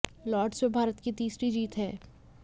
Lord's में भारत की यह तीसरी जीत है